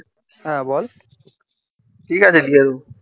হ্যাঁ বল ঠিক আছে দিয়ে দেব